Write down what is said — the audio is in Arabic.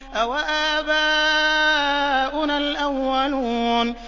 أَوَآبَاؤُنَا الْأَوَّلُونَ